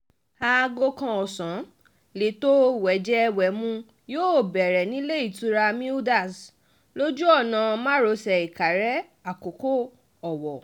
aago kan ọ̀sán lẹ́tọ́ wẹ́jẹ-wẹ̀mu yóò bẹ̀rẹ̀ nílẹ̀-ìtura mildas lójú ọ̀nà márosẹ̀ ìkàrè àkókò owó